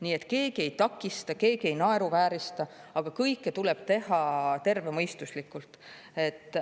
Nii et keegi ei takista, keegi ei naeruväärista, aga kõike tuleb teha tervemõistuslikult.